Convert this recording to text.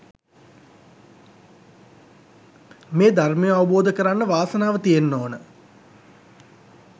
මේ ධර්මය අවබෝධ කරන්න වාසනාව තියෙන්න ඕන